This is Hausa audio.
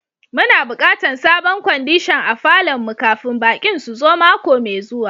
Mu na bukatan sabon kwandishan a falon mu kafin baki'n su zo mako mai zuwa.